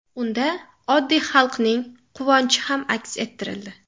Unda oddiy xalqning quvonchi ham aks ettirildi.